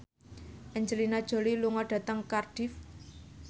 Angelina Jolie lunga dhateng Cardiff